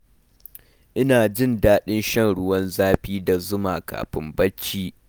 Ina jin daɗin shan ruwan zafi da zuma kafin barci.